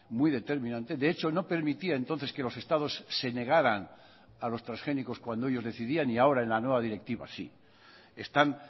muy determinante de hecho no permitía entonces que los estados se negaran a los transgénicos cuando ellos decidían y ahora en la nueva directiva sí están